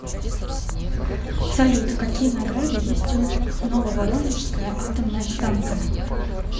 салют какие награды есть у нововоронежская атомная станция